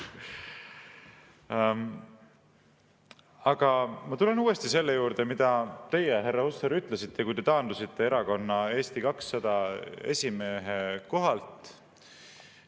Aga ma tulen uuesti selle juurde, mida teie, härra Hussar, ütlesite, kui te taandusite erakonna Eesti 200 esimehe kohalt.